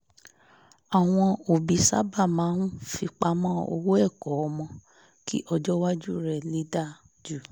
àwọn òbí sábà máa ń fipamọ́ owó ẹ̀kọ́ ọmọ kí ọjọ́ iwájú rẹ̀ lè dáa ju